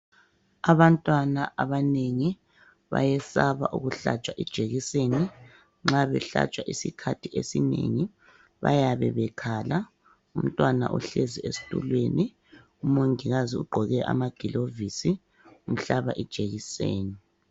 Abantwana abanengi bayesaba ukuhlatshwa ijekiseni nxa behlatshwa isikhathi esinengi bayabe bekhala. Umntwana uhlezi esitulweni umongikazi ugqoke amagilovisi umhlaba ijekiseni.